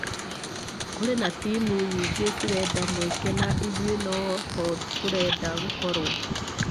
kũrĩ na timũ nyingĩ cirenda mweke na ithuĩ noho tũrenda gũkorwo.